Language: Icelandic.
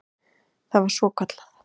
Það var svokallað